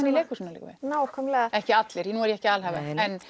nákvæmlega ekki allir nú er ég ekki að alhæfa